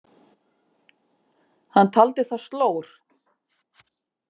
Hann taldi það slór.